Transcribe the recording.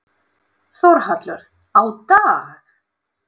Þórhallur: Á dag?